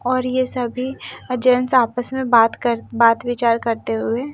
और ये सभी अजेंट्स आपस में बात कर- बात-विचार करते हुए--